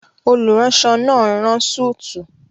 Olùránsọ náà n rán súùtù